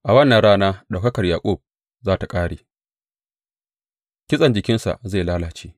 A wannan rana ɗaukakar Yaƙub za tă ƙare; kitsen jikinsa zai lalace.